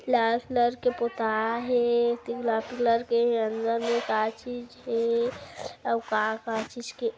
लाल colour के पूता है। तीन लाल कलर के अंदर मे का चीज है